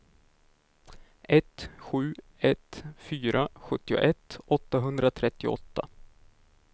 ett sju ett fyra sjuttioett åttahundratrettioåtta